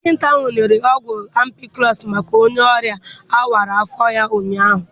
Dọkịta ahụ nyere ọgwụ ampikụlọs maka onye ọrịa a wara afọ ya ụnyaahụ